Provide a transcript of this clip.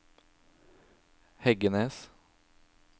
Heggenes